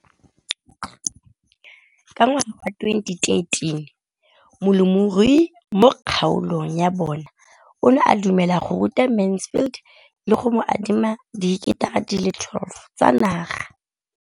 Ka ngwaga wa 2013, molemirui mo kgaolong ya bona o ne a dumela go ruta Mansfield le go mo adima di heketara di le 12 tsa naga.